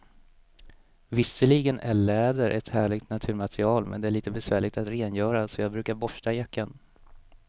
Visserligen är läder ett härligt naturmaterial, men det är lite besvärligt att rengöra, så jag brukar borsta jackan.